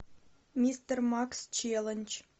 мистер макс челлендж